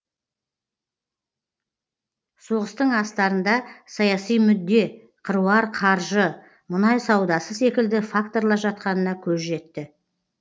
соғыстың астарында саяси мүдде қыруар қаржы мұнай саудасы секілді факторлар жатқанына көз жетті